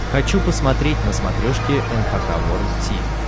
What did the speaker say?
хочу посмотреть на смотрешке эн эйч кей волд ти ви